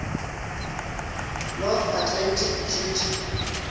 north atlantic treaty